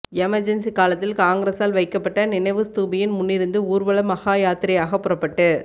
emergency காலத்தில் காங்கிரஸால் வைக்கப்பட்ட நினைவு ஸ்தூபியின் முன்னிருந்து ஊர்வலமாகபாதயாத்திரையாக புறப்பட்டு